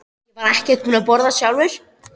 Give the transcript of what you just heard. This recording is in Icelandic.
Ég var ekkert búinn að borða sjálfur.